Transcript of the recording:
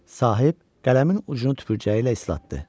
Sahib qələmin ucunu tüpürcəyi ilə islatdı.